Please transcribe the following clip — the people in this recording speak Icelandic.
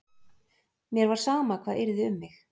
Mér var sama hvað yrði um mig.